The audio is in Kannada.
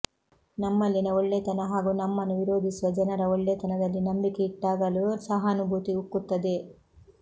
ನಮ್ಮಲ್ಲಿನ ಒಳ್ಳೆತನ ಹಾಗೂ ನಮ್ಮನ್ನು ವಿರೋಧಿಸುವ ಜನರ ಒಳ್ಳೆಯತನದಲ್ಲಿ ನಂಬಿಕೆ ಇಟ್ಟಾಗಲೂ ಸಹಾನುಭೂತಿ ಉಕ್ಕುತ್ತದೆ